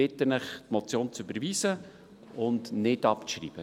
Ich bitte Sie, die Motion zu überweisen und nicht abzuschreiben.